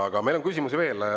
Aga meil on küsimusi veel.